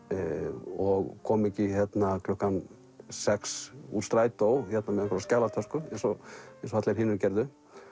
og kom ekki klukkan sex úr strætó með skjalatösku eins og eins og allir hinir gerðu